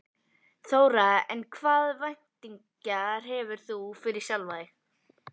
Þóra: En hvaða væntingar hefur þú fyrir sjálfan þig?